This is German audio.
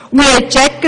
Wir haben begriffen: